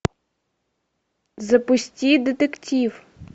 запусти детектив